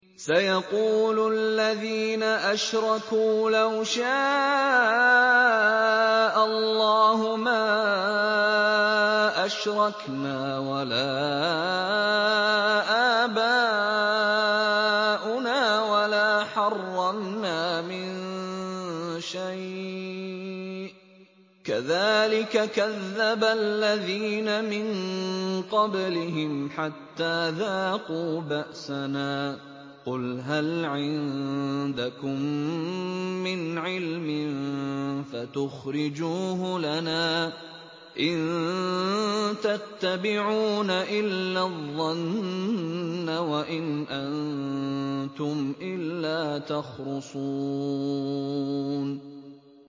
سَيَقُولُ الَّذِينَ أَشْرَكُوا لَوْ شَاءَ اللَّهُ مَا أَشْرَكْنَا وَلَا آبَاؤُنَا وَلَا حَرَّمْنَا مِن شَيْءٍ ۚ كَذَٰلِكَ كَذَّبَ الَّذِينَ مِن قَبْلِهِمْ حَتَّىٰ ذَاقُوا بَأْسَنَا ۗ قُلْ هَلْ عِندَكُم مِّنْ عِلْمٍ فَتُخْرِجُوهُ لَنَا ۖ إِن تَتَّبِعُونَ إِلَّا الظَّنَّ وَإِنْ أَنتُمْ إِلَّا تَخْرُصُونَ